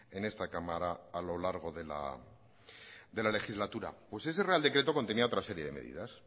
en esta cámara a lo largo de la legislatura pues ese real decreto contenía otra serie de medidas